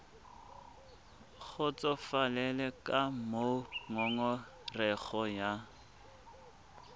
kgotsofalele ka moo ngongorego ya